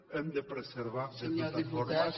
hem de preservar de totes formes